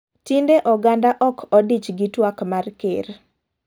Tinde oganda ok odich gi twak mar ker.